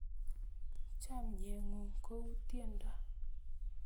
Chonye ng'ung' kou tyendo.